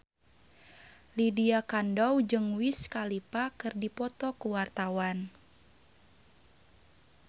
Lydia Kandou jeung Wiz Khalifa keur dipoto ku wartawan